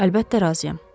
Əlbəttə razıyam.